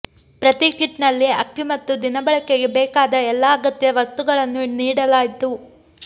ಪ್ರತೀ ಕಿಟ್ನಲ್ಲಿ ಅಕ್ಕಿ ಮತ್ತು ದಿನಬಳಕೆಗೆ ಬೇಕಾದ ಎಲ್ಲಾ ಅಗತ್ಯ ವಸ್ತುಗಳನ್ನು ನೀಡಲಾಯಿತು